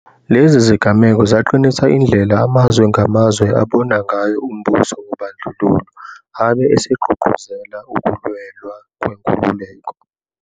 Lezi zigameko zaqinisa indlela amazwe ngamazwe abona ngayo umbuso wobandlululo abe esegqugquzela ukulwelwa kwenkululeko.